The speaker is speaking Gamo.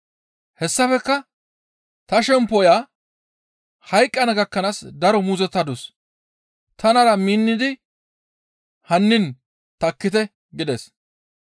Hessafekka, «Ta shemppoya hayqqana gakkanaas daro muuzottadus; tanara minnidi hannin takkite» gides.